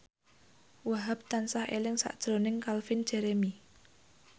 Wahhab tansah eling sakjroning Calvin Jeremy